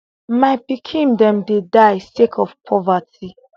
my pikin dem dey die sake of poverty